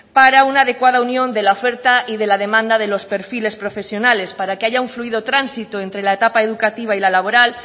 para una adecuada unión de la oferta y de la demanda de los perfiles profesionales para que haya un fluido tránsito entre la etapa educativa y la laboral